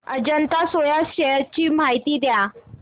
Ajanta Soya shares ची माहिती द्या